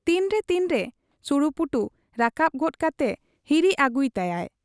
ᱛᱤᱱᱨᱮ ᱛᱤᱱᱨᱮ ᱥᱩᱲᱩᱯᱩᱴᱩ ᱨᱟᱠᱟᱵ ᱜᱚᱫ ᱠᱟᱛᱮ ᱦᱤᱨᱤ ᱟᱹᱜᱩᱭ ᱛᱟᱭᱟᱜ ᱾